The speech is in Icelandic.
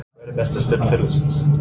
Hver er besta stund ferilsins?